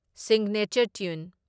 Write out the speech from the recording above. Signature ꯇ꯭ꯌꯨꯟ ꯫